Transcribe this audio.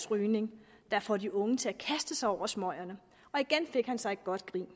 rygning der får de unge til at kaste sig over smøgerne igen fik han sig et godt grin